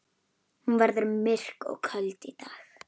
Hún verður myrk og köld í dag.